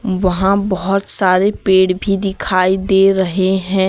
वहां बहुत सारे पेड़ भी दिखाई दे रहे हैं।